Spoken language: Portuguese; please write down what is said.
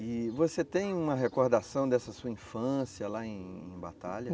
E você tem uma recordação dessa sua infância lá em Batalha?